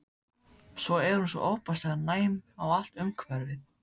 Svo er hún svo ofboðslega næm á allt umhverfið.